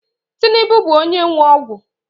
Tinubu bụ onye nwe ọgwụ